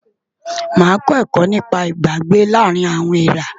Màá kọ́ ẹ̀kọ́ nípa Ìbágbé láàárín àwọn èèrá.